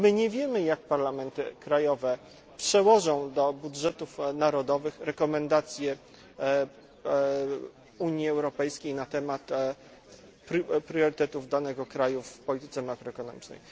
Nie wiemy, jak parlamenty krajowe przełożą do budżetów narodowych rekomendacje Unii Europejskiej na temat priorytetów danego kraju w polityce makroekonomicznej.